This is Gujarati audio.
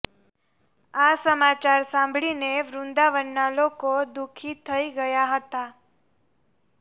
આ સમાચાર સાંભળીને વૃંદાવનના લોકો દુઃખી થઈ ગયા હતા